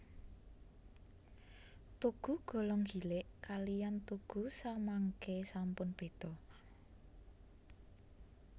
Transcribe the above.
Tugu Golong Gilig kaliyan tugu samangke sampun beda